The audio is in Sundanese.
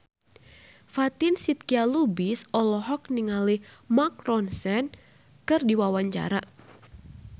Fatin Shidqia Lubis olohok ningali Mark Ronson keur diwawancara